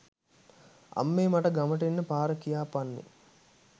අම්මේ මට ගමට එන්න පාර කියපන්නේ